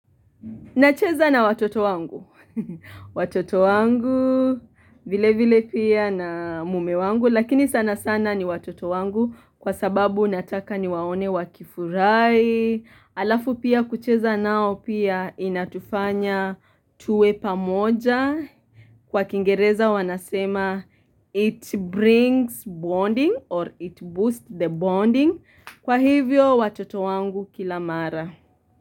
Nacheza na watoto wangu, watoto wangu, vile vile pia na mume wangu, lakini sana sana ni watoto wangu kwa sababu nataka niwaone wakifurai, alafu pia kucheza nao pia inatufanya tuwe pamoja, kwa kiingereza wanasema it brings bonding or it boosts the bonding, kwa hivyo watoto wangu kila mara.